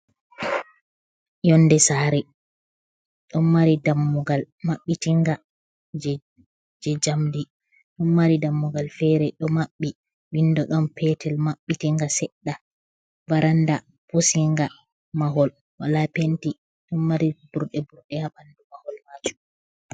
Yonnde saare ɗon mari dammugal mabbitinga jey njamndi. Ɗon mari dammugal feere ɗo maɓɓi, winndo ɗon peetel mabbitinga seɗɗa, varannda pusinga, mahol wala penti, ɗon mari burɗe burɗe haa ɓanndu mahol maajum.